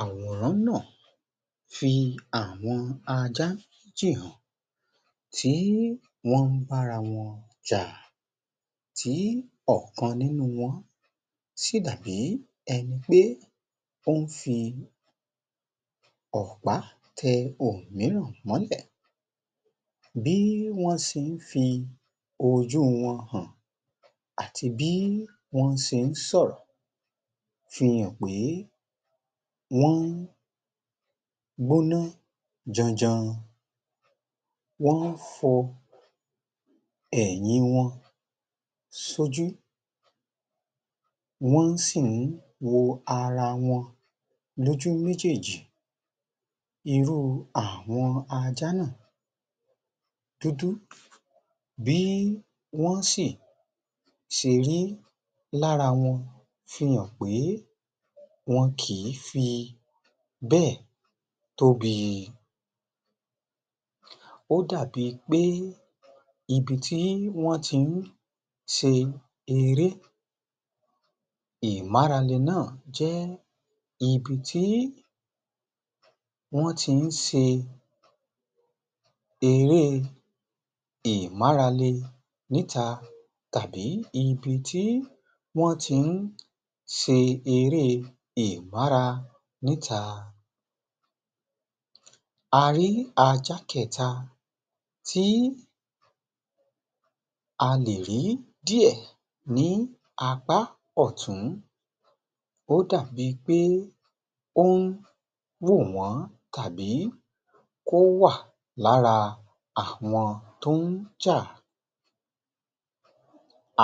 Àwòrán ńàa fi àwọn aj́a méjì tí wọ́n ń bá ara wọn jà, tí ọ̀kan sì dàbí ẹni pé ó ń fi ọ̀pá tẹ òmíràn mọ́lẹ̀, bí wọ́n ṣe ń fi ojú wọn hàn àti bí wọ́n ṣe ń sọ̀rọ̀ fi hàn pé wọ́n gbóná janjan, wọ́n ń fọ ẹ̀yìn wọn sójú, wọ́n sì ń wo ara wọn lójú méjèèjì, ìrù àwọn ajá náà dúdú, bí wọ́n si ṣe rí lára wọn fi hàn pé wọn kì í fi bẹ́ẹ̀ tóbi. Ó dàbí i pé ibi tí wọ́n ti ń ṣe eré ìmárale náà jẹ́, ibi tí wọ́n ti ń ṣe eré ìmárale níta tàbí ibi tí wọ́n ti ń ṣe eré ìmára níta. A rí ajá kẹta, tí a lè rí díẹ̀ ní apá ọ̀tún, ó dàbí pé ó ń wò wọ́n, tàbí kó wà lára àwọn tó ń jà.